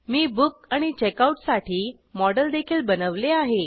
मी book आणि checkout साठी model देखील बनवले आहे